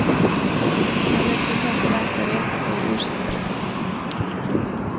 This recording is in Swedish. Några kvinnliga studenter reste sig i ursinnig protest.